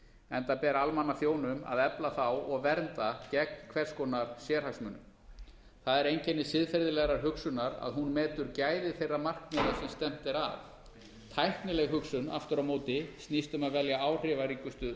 enda ber almannaþjónum að efla þá og vernda gegn hvers konar sérhagsmunum það er einkenni siðferðilegrar hugsunar að hún metur gæði þeirra markmiða sem stefnt er að tæknileg hugsun aftur á móti snýst um að velja áhrifaríkustu